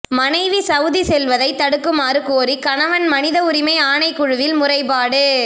மனைவி சவுதி செல்வதை தடுக்குமாறு கோரி கணவன் மனித உரிமை ஆணைக்குழுவில் முறைப்பாடு